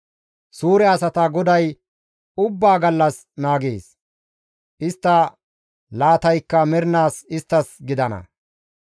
GODAY Suure asatau ubbaa gallas naagees; istta laataykka mernaas isttas gidana.